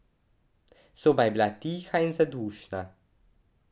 Soba je bila tiha in zadušna.